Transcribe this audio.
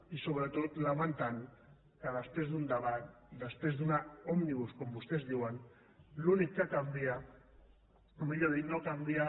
i sobretot lamentant que després d’un debat després d’una òmnibus com vostès diuen l’únic que canvia o millor dit no canvia